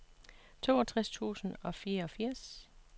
toogtres tusind og fireogfirs